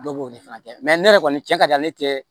Dɔw b'o de fana kɛ ne yɛrɛ kɔni cɛ ka di ale kɛ